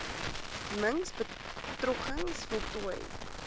mings begrotings voltooi